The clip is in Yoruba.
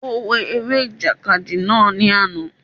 Ó wo eré ìjàkadì náà ní àná